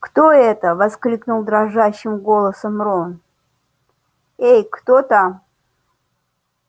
кто это воскликнул дрожащим голосом рон эй кто там